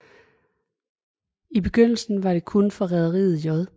I begyndelsen var det kun for rederiet J